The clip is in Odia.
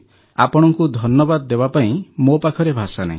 ଆପଣଙ୍କୁ ଧନ୍ୟବାଦ ଦେବା ପାଇଁ ମୋ ପାଖରେ ଭାଷା ନାହିଁ